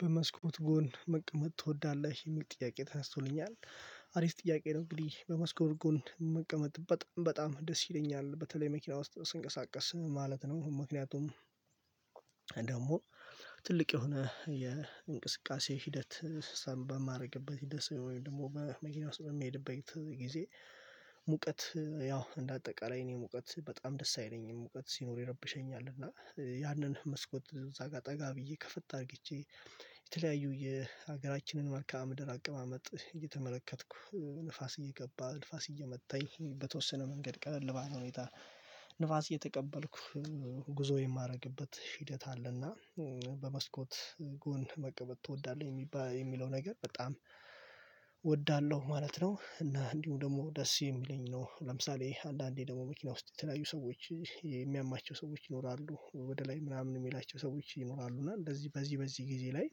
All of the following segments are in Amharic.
በመስኮት ጎን መቀመጥ ትወዳለህ? የሚል ጥያቄ ተነስቶልኛል አሪፍ ጥያቄ ነው እንግዲህ በመስኮት ጎን መቀመጥ በጣም በጣም ደስ ይለኛል። በተለይ መኪና ውስጥ ስንቀሳቀስ ማለት ነው ምክንያቱም ደግሞ ትልቅ የሆነ የእንቅስቃሴ ሂደት ሰን በማረግበት ሲኖር ወይም ደግሞ በመኪና ውስጥ በሚሄድበት ጊዜ ሙቀት ያው እንደ አጠቃላይ እኔ ሙቀት በጣም ደስ አይለኝም ሙቀት ሲኖር ይረብሸኛል እና ያንን መስኮት እዛ ጋር ጠጋ ብዬ ከፈታ አድርግቼ የተለያዩ የሀገራችንን መልካም ምድር አቀማመጥ እየተመለከትኩ ንፋስ እየገባ፣ ንፋስ እየመታኝ በተወሰነ መንገድ ቀለል ባለ ሁኔታ ንፋስ እየተቀበልኩ ጉዞ የማደርግበት ሂደት አለና በመስኮት ጎን መቀበጥ ትወዳለህ የሚባል የሚለው ነገር በጣም እወዳለሁ ማለት ነው፣ እና እንዲሁ ደግሞ ደስ የሚለኝ ነው ለምሳሌ አንዳንዴ ደግሞ መኪና ውስጥ የተለያዩ ሰዎች የሚያማቸው ሰዎች ይኖራሉ ወደ ላይ ምናምን የሚላቸው ሰዎች ይኖራሉ እና እንደዚህ በዚህ በዚህ ጊዜ ላይ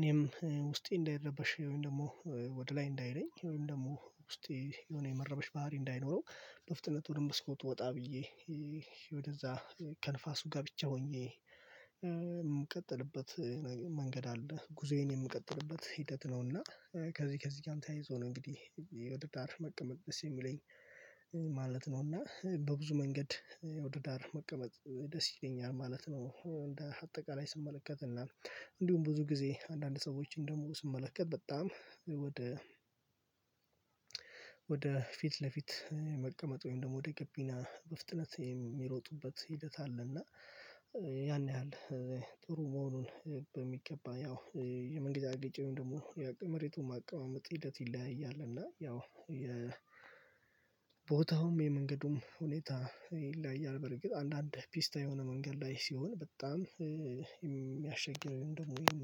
እኔም ውስጤ እንዳይረበሽ ወይም ደግሞ ወደ ላይ እንዳይለኝ ወይም ደግሞ ውስጤ የሆነ የመረበሽ ባህሪ እንዳይኖረው በፍጥነት ወደ መስኮት ወጣ ብዬ ወደዛ ከንፋሱ ጋር ብቻ ሆኜ የምቀጥልበት መንገድ አለ ጉዞዬን የምቀጥልበት ሂደት ነውና ከዚህ ከዚህ ጋርም ተያይዞ ነው እንግዲህ ወደ ዳር መቀመጥ ደስ የሚለኝ ማለት ነውና በብዙ መንገድ ወደ ዳር መቀመጥ ደስ ይገኛል ማለት ነው። እንደ አጠቃላይ ስመለከትና እንዲሁም ብዙ ጊዜ አንዳንድ ሰዎችን ደግሞ ስመለከት በጣም ወደ ፊት ለፊት መቀመጥ ወይም ደግሞ ወደ ገቢና በፍጥነት የሚሮጡበት ሂደት አለ እና ያን ያህል ጥሩ መሆኑን በሚገባ ያው የመንገጫገጭም ደግሞ የመሬቱን ማቀማመጥ ሂደት ይለያያል እና ያው የቦታውም የመንገዱም ሁኔታ ይለያያል በርግጥ አንዳንድ ፒስታ የሆነ መንገድ ላይ ሲሆን በጣም የሚያሸግረኝ ወይንም ወይንም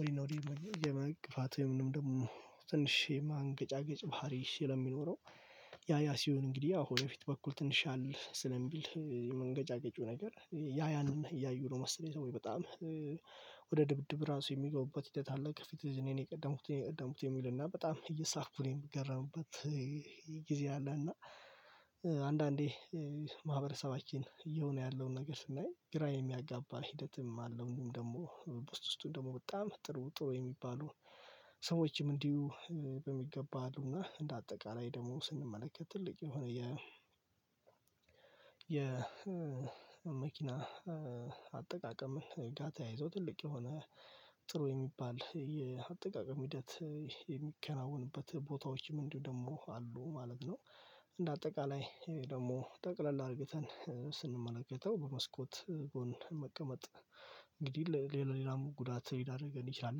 ወይንም የመግፋት ወይንም ደግሞ ትንሽ የማንገጫገጭ ባህሪ ስለሚኖረው ያ ያ ሲሆን እንግዲህ ወደ በፊት በኩል ትንሽ ሻል ስለሚል የመንገጫገጩ ነገር ያ ያንን እያዩ ነው መሰለኝ ሰዎች በጣም ወደ ድብድብ ራሱ የሚገቡበት ሂደት አለ ከፊት እኔን የቀደምኩት የሚልና በጣም እየሳኩ ነው የምገረምበት ጊዜ አለና እና አንዳዴ ማህበረሰባችን እየሆነ ያለውን ነገር ስናይ ግራ የሚያጋባ ሂደትም አለው እንዲሁም ደግሞ ውስጥ ውስጡን ደግሞ በጣም ጥሩ ጥሩ የሚባሉ ሰዎችም እንዲሁ በሚገባ አሉና እንደ አጠቃላይ ደግሞ ስንመለከት ትልቅ የሆነ የ የ መኪና አጠቃቀምን ህግጋታ ይዞ ትልቅ የሆነ ጥሩ የሚባል የአጠቃቀም ሂደት የሚከናወንበት ቦታዎችም እንዲሁ ደግሞ አሉ ማለት ነው። እንደ አጠቃላይ ደግሞ ጠቅለል አድርገን ስንመለከተው በመስኮት በሆን መቀመጥ እንግዲህ ሌላ ሌላ ጉዳት ሊዳርገን ይችላል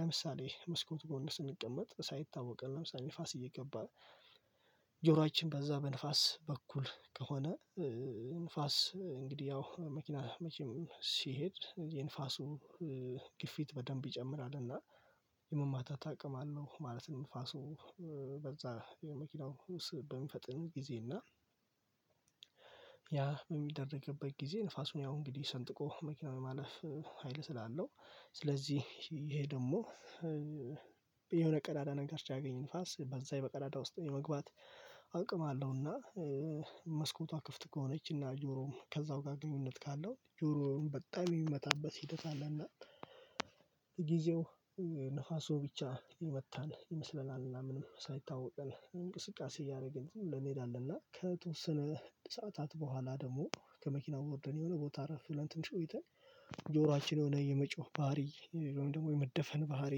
ለምሳሌ መስኮቱ ጎን ስንቀመጥ ሳይታወቅ ለምሳሌ ንፋስ እየገባ ጆሯችን ከዛ በንፋስ በኩል ከሆነ ንፋስ እንግዲህ ያው መኪና መቼም ሲሄድ የንፋሱ ግፊት በደንብ ይጨምራል እና የመማታ ታቅማለህ አለው ማለት ነው ንፋሱ በዛ የመኪናው ውስጥ በሚፈጥን ጊዜ እና ያ በሚደረግበት ጊዜ ንፋሱን ያው እንግዲህ ሰንጥቆ መኪናው ማለፍ ሀይል ስላለው ስለዚህ ይሄ ደግሞ የሆነ ቀዳዳ ነገር ሲያገኘ ንፋስ በዛ በቀዳዳ ውስጥ የመግባት አቅም አለውና መስኮቷ ክፍት ከሆነችና ጆሮውም ከዛው ጋር ግንኙነት ካለው ጆሮውን በጣም የሚመታበት ሂደት አለና ጊዜው ንፋሱ ብቻ ይወጣል ይመስለናልና ምንም ሳይታወቀን እንቅስቃሴ እያደረገን ዝም ብለን እንሄዳለን እና ከተወሰነ ሰዓታት በኋላ ደግሞ ከመኪናው ወርደን የሆነ ቦታ አረፍ ትንሽ ቆይተን ጆሯችን የሆነ የመጮህ ባህሪ ደግሞ የመደፈን ባህሪ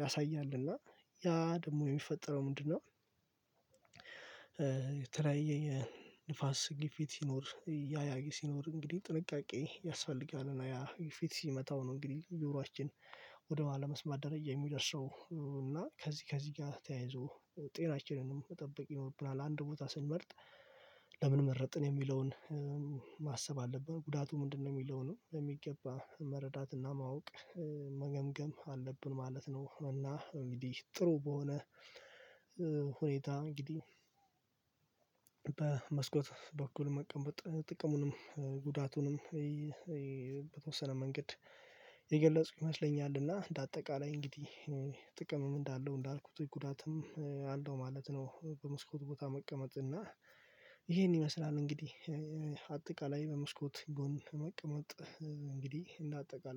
ያሳያል እና ያ ደግሞ የሚፈጠረው ምንድነው የተለያየ ንፋስ ግፊት ሲኖር ያያ ሲኖር እንግዲህ ጥንቃቄ ያስፈልጋል እና ያ ፊት ሲመታው ነው እንግዲህ ጆሯችን ወደ ኋላ መስማት ደረጃ የሚደርሰው እና ከዚህ ከዚህ ጋር ተያይዞ ጤናችንንም መጠበቅ ይኖርብናል። አንድ ቦታ ስንመርጥ ለምን መረጥን የሚለውን ማሰብ አለብን ጉዳቱ ምንድነው የሚለው ነው በሚገባ መረዳትና ማወቅ መገምገም አለብን ማለት ነው እና እንግዲህ ጥሩ በሆነ ሁኔታ እንግዲህ በመስኮት በኩል መቀመጥ ጥቅሙንም ጉዳቱንም በተወሰነ መንገድ የገለጽኩ ይመስለኛልና እንደ አጠቃላይ እንግዲህ ጥቅምም እንዳለው እንዳልኩት ጥቁር ጉዳትም አለው ማለት ነው በመስኮት ቦታ መቀመጥ እና ይሄን ይመስላል እንግዲህ አጠቃላይ በመስኮት ጎን መቀመጥ እንግዲህ እንደ አጠቃላይ